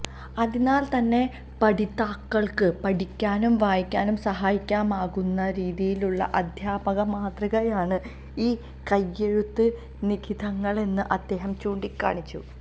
അതിനാല് തന്നെ പഠിതാക്കള്ക്ക് പഠിക്കാനും വായിക്കാനും സഹായകമാകുന്ന രീതിയിലുള്ള അദ്ധ്യാപക മാതൃകയാണ് ഈ കൈയെഴുത്ത് നിഖിതങ്ങളെന്ന് അദ്ദേഹം ചൂണ്ടിക്കാണിച്ചു